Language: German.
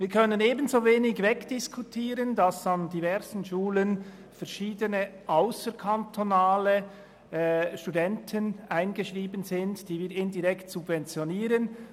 Wir können ebenso wenig wegdiskutieren, dass an diversen Schulen verschiedene ausserkantonale Studenten eingeschrieben sind, die wir indirekt subventionieren.